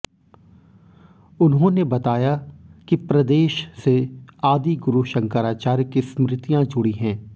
उन्होंने बताया कि प्रदेश से आदिगुरू शंकराचार्य की स्मृतियां जुड़ी हैं